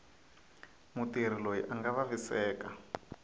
mutirhi loyi a nga vaviseka